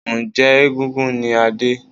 Njẹ́ egúngún ni Adé?